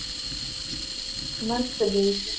મસ્ત ગઈ છે.